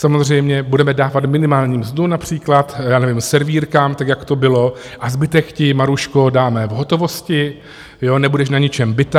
Samozřejmě budeme dávat minimální mzdu například servírkám, tak jak to bylo: "A zbytek ti, Maruško, dáme v hotovosti, jo, nebudeš na ničem bita".